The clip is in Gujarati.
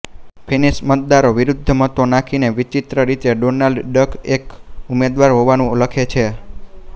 ફિન્નીશ મતદારો વિરુદ્ધ મતો નાખીને વિચીત્ર રીતે ડોનાલ્ડ ડક એક ઉમેદવાર હોવાનું લખે છે